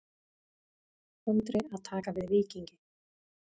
Andri að taka við Víkingi